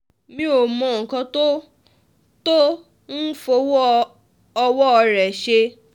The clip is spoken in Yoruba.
mi ò mọ nǹkan tó tó ń fọwọ́ ọwọ́ rẹ̀ ṣe